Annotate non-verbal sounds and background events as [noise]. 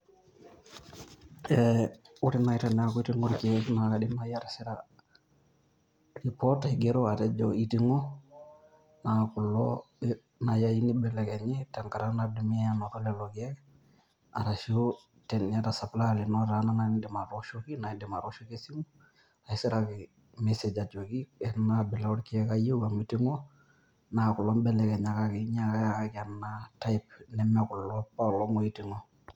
Ore naai teneeku iting'o irkeek naa akaaidim naai atisira report aigero atejo iting'o, naa kulo naai ayieu nibelekenyi tenkata nadumia lelo keek, arashu teniata supplier lino naai otaana niindim atooshoki esimu, ashu isiraki message ajoki ena abila oorkeek ayieu amu iting'o, naa kulo mbelekenyakaki, [inaudible] aikenaa type nemekulo opoolong' ooiting'o.